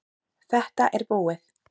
Þetta er búið.